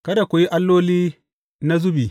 Kada ku yi alloli na zubi.